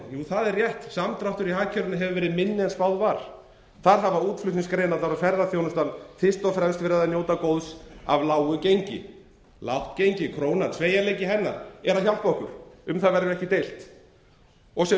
jú það er rétt samdráttur í hagkerfinu hefur verið minni en spáð var þar hafa útflutningsgreinarnar og ferðaþjónustan fyrst og fremst notið góðs af lágu gengi lágt gengi krónunnar og sveigjanleiki hennar hjálpar okkur um það verður ekki deilt og sem